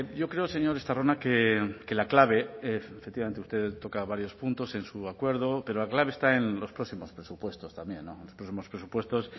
yo creo señor estarrona que la clave efectivamente usted toca varios puntos en su acuerdo pero la clave está en los próximos presupuestos también los próximos presupuestos